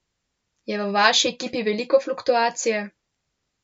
Je v vaši ekipi veliko fluktuacije?